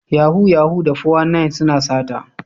Yahoo Yahoo da 419 suna sata.